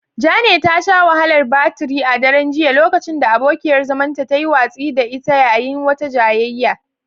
Jane ta sha wahalar batir a daren jiya lokacin da abokiyar zamanta ta yi watsi da ita yayin wata jayayya.